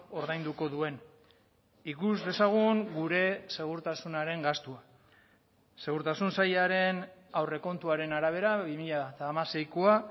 ordainduko duen ikus dezagun gure segurtasunaren gastua segurtasun sailaren aurrekontuaren arabera bi mila hamaseikoa